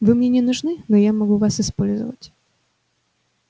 вы мне не нужны но я могу вас использовать